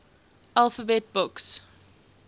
alphabet books